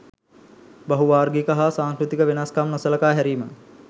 බහු වාර්ගික හා සංස්කෘතික වෙනස්කම් නොසලකා හැරීම.